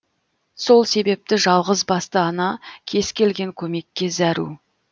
сол себепті жалғысбасты ана кез келген көмекке зәру